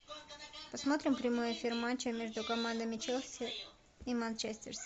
посмотрим прямой эфир матча между командами челси и манчестер сити